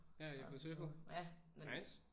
Ja I har fået surfet? Nice